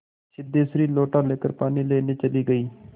सिद्धेश्वरी लोटा लेकर पानी लेने चली गई